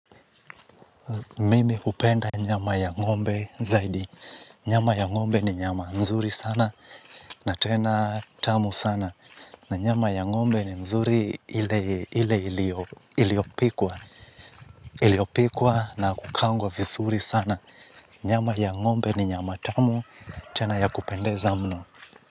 Mimi hupenda nyama ya ngombe zaidi. Nyama ya ngombe ni nyama nzuri sana na tena tamu sana. Na nyama ya ngombe ni nzuri ile iliyopikwa. Iliyopikwa na kukaangwa vizuri sana. Nyama ya ngombe ni nyama tamu tena ya kupendeza mno.